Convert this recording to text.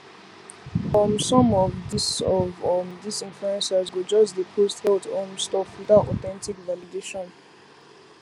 um some of um this of um this influencers go just dey post health um stuff without authentic validation